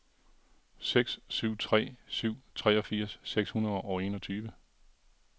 seks syv tre syv treogfirs seks hundrede og enogtyve